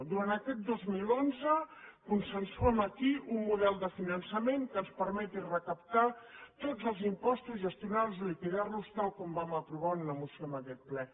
durant aquest dos mil onze consensuem aquí un model de finançament que ens permeti recaptar tots els impostos gestionar los liquidar los tal com vam aprovar en una moció en aquest ple